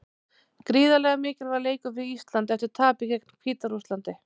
Gríðarlega mikilvægur leikur fyrir Ísland eftir tapið gegn Hvíta-Rússlandi.